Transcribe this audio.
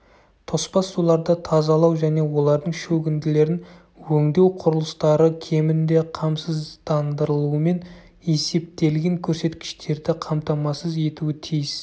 тоспа суларды тазалау және олардың шөгінділерін өңдеу құрылыстары кемінде қамсыздандырылумен есептелген көрсеткіштерді қамтамасыз етуі тиіс